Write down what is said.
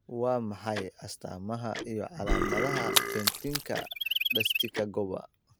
Waa maxay astamaha iyo calaamadaha Patentika ductiska gobaa?